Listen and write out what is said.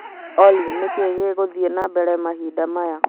Olly nĩ kĩĩ gĩgũthiĩ na mbere mahinda maya